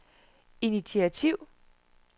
initiativ